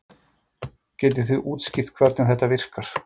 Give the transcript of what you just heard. Getið þið útskýrt hvernig þetta virkar?